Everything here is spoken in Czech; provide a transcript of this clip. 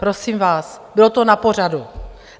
Prosím vás, bylo to na pořadu.